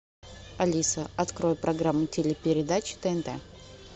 алиса открой программу телепередач тнт